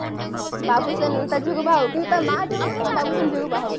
ବାବୁଶାନ ତା ଝିଅକୁ ବାହା ହଉ କିନ୍ତୁ ତା ମା ଚାହୁଥିବ ବାବୁସାନ ଝିଅ କୁ ବାହା ହଉ